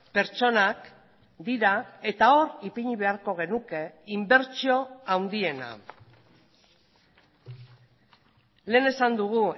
pertsonak dira eta hor ipini beharko genuke inbertsio handiena lehen esan dugu